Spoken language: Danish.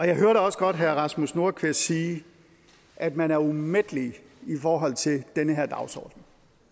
jeg hørte også godt herre rasmus nordqvist sige at man er umættelig i forhold til den her dagsorden